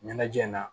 Ɲɛnajɛ na